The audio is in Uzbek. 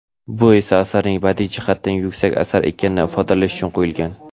bu esa asarning badiiy jihatdan yuksak asar ekanini ifodalash uchun qo‘yilgan.